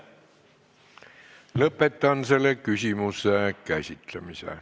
Lõpetan selle küsimuse käsitlemise.